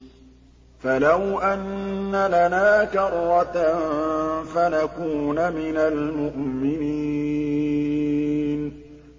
فَلَوْ أَنَّ لَنَا كَرَّةً فَنَكُونَ مِنَ الْمُؤْمِنِينَ